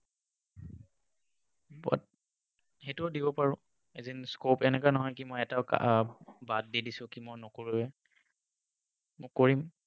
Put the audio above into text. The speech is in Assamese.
সেইটোও দিব পাৰোঁ। এদিন scope, এনেকুৱা নহয় কি মই এটাও বাদ দি দিছো কি মই নকৰোৱেই। মই কৰিম।